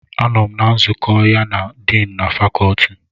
Anọm na nzukọ ya na Diini of Faculty.